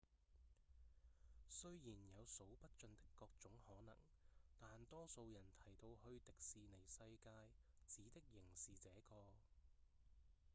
雖然有數不盡的各種可能但多數人提到「去迪士尼世界」指的仍是這個